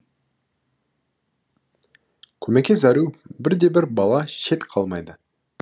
көмекке зәру бір де бір бала шет қалмайды